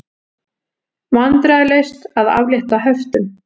Vandræðalaust að aflétta höftum